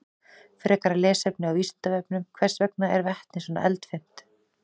Frekara lesefni á Vísindavefnum: Hvers vegna er vetni svona eldfimt?